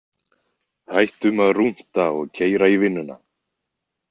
Hættum að rúnta og keyra í vinnuna.